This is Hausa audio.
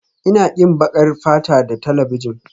Ina ƙin baƙar fata da talabijin